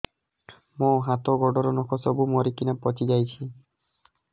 ମୋ ହାତ ଗୋଡର ନଖ ସବୁ ମରିକିନା ପଚି ଯାଉଛି